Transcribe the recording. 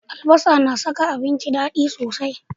Albasa na saka abinci dadi sosai.